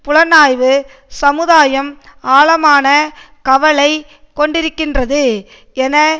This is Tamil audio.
புலனாய்வு சமுதாயம் ஆழமான கவலை கொண்டிருக்கின்றது என